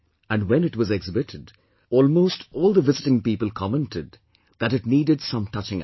And when it was exhibited, almost all the visiting people commented that it needed some touching up